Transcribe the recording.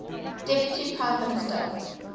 deputy prime ministers